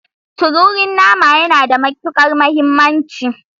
Tururi nama yana da matukar muhimmanci.